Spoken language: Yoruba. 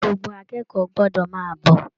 Gbogbo akẹ́kọ̀ọ́ gbọ́dọ̀ máa bọ̀